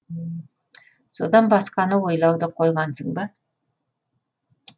содан басқаны ойлауды қойғансың ба